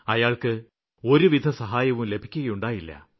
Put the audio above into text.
അയാള്ക്ക് ഒരുവിധസഹായവും ലഭിക്കുകയുണ്ടായില്ല